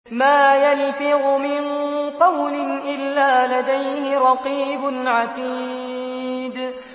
مَّا يَلْفِظُ مِن قَوْلٍ إِلَّا لَدَيْهِ رَقِيبٌ عَتِيدٌ